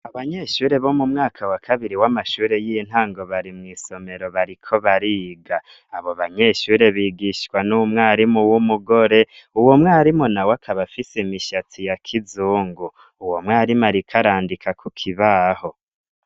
Sbanyeshure bo m'umwaka wa kabiri w'amashuri y'intango bari mw'isomero bariko bariga. Abobanyeshure bigishwa n'umwarimu w'umugore, uwomwarimu nawe akaba afise imishatsi ya kizungu. Uwomwarimu arik'arandika kukibaho.